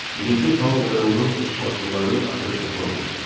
Birinci Tao və onun üçbaşlılarının axırı çatmaq üzrədir.